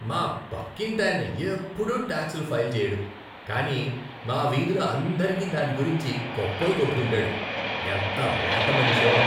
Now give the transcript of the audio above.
మా పక్కింటాయన ఎప్పుడూ టాక్స్లు ఫైల్ చెయ్యడు కానీ మా వీధిలో అందరికి దాని గురించి గొప్పలు కొట్టుకుంటాడు. ఎంత రోత మనిషో.